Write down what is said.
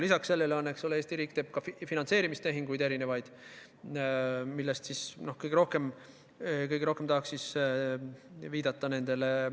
Lisaks sellele teeb Eesti riik ka mitmesuguseid finantseerimistehinguid.